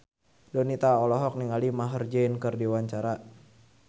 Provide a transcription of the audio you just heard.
Donita olohok ningali Maher Zein keur diwawancara